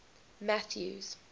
mathews